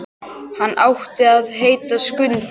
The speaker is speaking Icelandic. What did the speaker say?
Hann átti að heita Skundi.